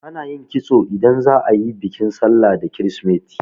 Ana yin kitso idan za'a yi bikin sallah da kirisimeti.